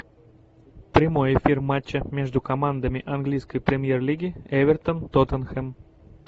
прямой эфир матча между командами английской премьер лиги эвертон тоттенхэм